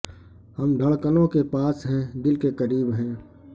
ہم دھڑکنوں کے پاس ہیں دل کے قریب ہیں